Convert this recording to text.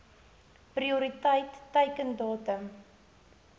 prioriteit teiken datum